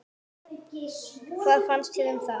Hvað fannst þér um það?